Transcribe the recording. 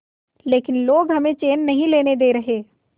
लेकिन लोग हमें चैन नहीं लेने दे रहे